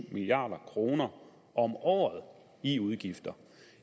milliard kroner om året i udgifter